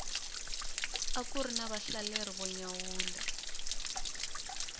akuri na vahlaleri vo nyawula